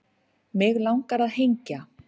Mig langar að hengja